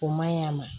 O maɲi a ma